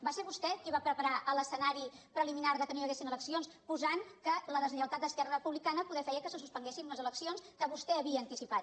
va ser vostè qui va preparar l’escenari preliminar que no hi haguessin eleccions posant que la deslleialtat d’esquerra republicana potser feia que se suspenguessin les eleccions que vostè havia anticipat